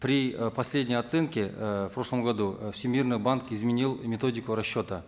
при э последней оценке э в прошлом году всемирный банк изменил методику расчета